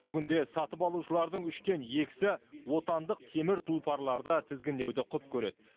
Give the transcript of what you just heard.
бүгінде сатып алушылардың үштен екісі отандық темір тұлпарларды тізгіндеуді құп көреді